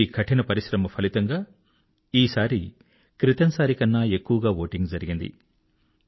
వీరి కఠిన పరిశ్రమ ఫలితంగా ఈసారి క్రితంసారి కన్నా ఎక్కువగా ఓటింగ్ జరిగింది